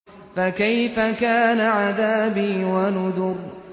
فَكَيْفَ كَانَ عَذَابِي وَنُذُرِ